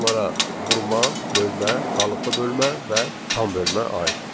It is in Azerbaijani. Bunlara vurma, bölmə, qalıqlı bölmə və tam bölmə aiddir.